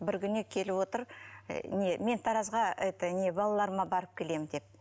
бір күні келіп отыр і не мен таразға это не балаларыма барып келемін деп